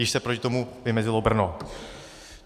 Již se proti tomu vymezilo Brno.